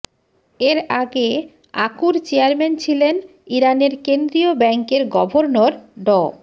এর আগে আকুর চেয়ারম্যান ছিলেন ইরানের কেন্দ্রীয় ব্যাংকের গভর্নর ড